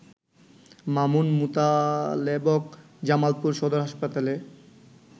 মামুন, মোতালেবক, জামালপুর সদর হাসপাতালে